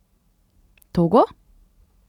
Togo?